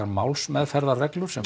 málsmeðferðarreglur sem